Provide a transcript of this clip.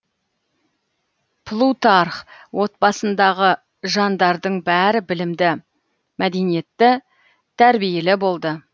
плутарх отбасындағы жандардың бәрі білімді мәдениетті тәрбиелі болды